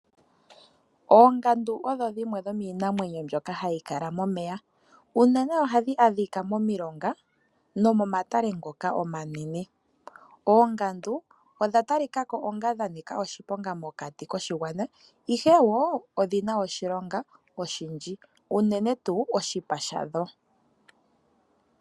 Oongandu odho dhimwe dhomiinamwenyo mbyoka hayi kala momeya unene ohadhi adhika momilonga nomomatale ngoka omanene. Oongandu odha talika ko onga dha nika oshiponga mokati koshigwana ihe wo odhina oshilonga oshindji unene tuu oshipa shadho.